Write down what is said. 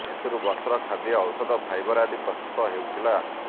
ଏଥିରୁ ବସ୍ତ୍ର ଖାଦ୍ୟ ଔଷଧ ଫାଇବର ଆଦି ପ୍ରସ୍ତୁତ ହେଉଥିଲା